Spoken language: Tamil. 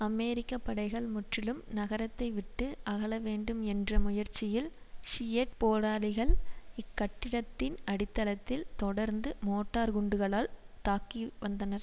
அமெரிக்க படைகள் முற்றிலும் நகரத்தைவிட்டு அகலவேண்டும் என்ற முயற்சியில் ஷியட் போராளிகள் இக்கட்டிடத்தின் அடித்தளத்தில் தொடர்ந்து மோட்டார் குண்டுகளால் தாக்கி வந்தனர்